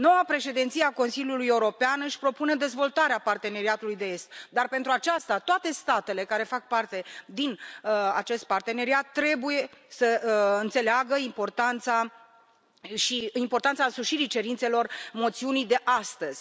Noua președinție a Consiliului European își propune dezvoltarea Parteneriatului estic dar, pentru aceasta, toate statele care fac parte din acest parteneriat trebuie să înțeleagă importanța însușirii cerințelor moțiunii de astăzi.